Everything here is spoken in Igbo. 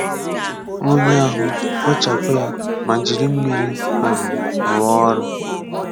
Nwùnyè ahụ, kpochàpụ̀ yà, mà jirì mmírí̀ um rùọ̀ ọrị̀.